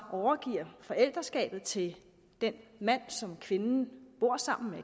overgiver forældreskabet til den mand som kvinden bor sammen med